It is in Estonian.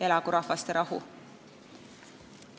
Elagu rahvaste rahu!